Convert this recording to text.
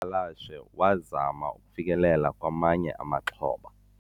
dyakalashe wazama ukufikelela kwamanye amaxhoba